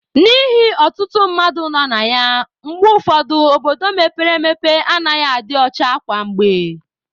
N'ihi ọtụtụ mmadụ nọ na ya, mgbe ụfọdụ obodo mepere emepe anaghị adị ọcha kwa mgbe